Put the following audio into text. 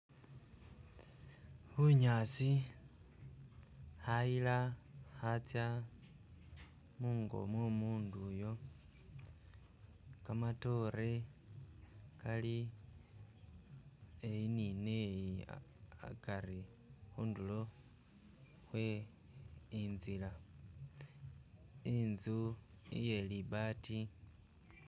Bunyaasi khayila khatsya mungo mwo umundu uyo kamatoore kali eyi ni neyi akari khundulo khwe inzila inzu iye libaati